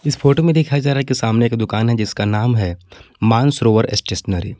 इस फोटो में दिखाया जा रहा है कि सामने एक दुकान है जिसका नाम है मानसरोवर स्टेशनरी ।